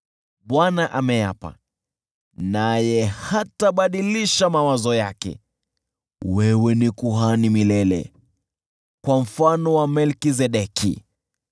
Bwana ameapa, naye hatabadilisha mawazo yake: “Wewe ni kuhani milele, kwa mfano wa Melkizedeki.”